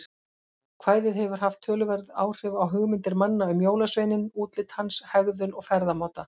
Kvæðið hefur haft töluverð áhrif á hugmyndir manna um jólasveininn, útlit hans, hegðun og ferðamáta.